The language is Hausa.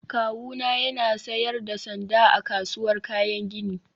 Kawuna yana sayar da sanda a kasuwar kayan gini